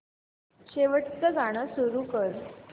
शेवटचं गाणं सुरू कर